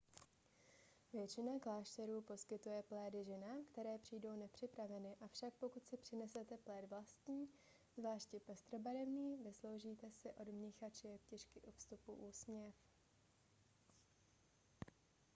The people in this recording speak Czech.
většina klášterů poskytuje plédy ženám které přijdou nepřipraveny avšak pokud si přinesete pléd vlastní zvláště pestrobarevný vysloužíte si od mnicha či jeptišky u vstupu úsměv